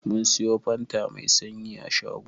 Mun siyo fanta Mai sanyi a shago.